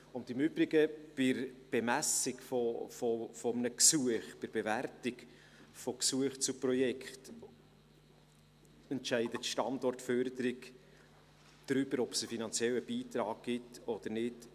Und im Übrigen: Bei der Bemessung eines Gesuchs, bei der Bewertung von Gesuchen zu Projekten entscheidet die Standortförderung darüber, ob es einen finanziellen Beitrag gibt oder nicht.